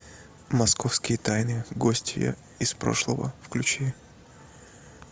московские тайны гостья из прошлого включи